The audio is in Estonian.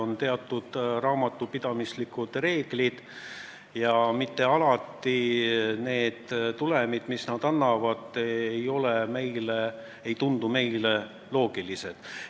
On teatud raamatupidamislikud reeglid ja mitte alati need tulemid, mis nad annavad, ei tundu meile loogilised.